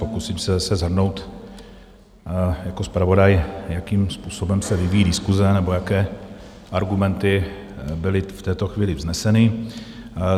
Pokusím se shrnout jako zpravodaj, jakým způsobem se vyvíjí diskuse nebo jaké argumenty byly v této chvíli vzneseny.